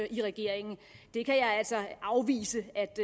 i regeringen det kan jeg altså afvise